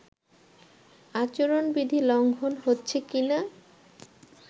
আচরণবিধি লঙ্ঘন হচ্ছে কিনা